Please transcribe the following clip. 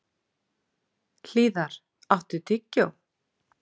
Hlíðar, áttu tyggjó?